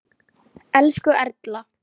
Elsku Erla.